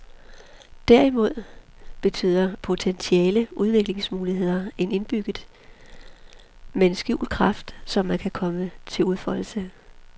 Derimod betyder potentiale udviklingsmuligheder, en indbygget, men skjult kraft, som kan komme til udfoldelse.